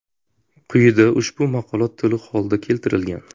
Quyida ushbu maqola to‘liq holda keltirilgan.